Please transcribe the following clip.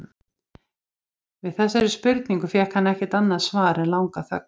Við þessari spurningu fékk hann ekkert annað svar en langa þögn.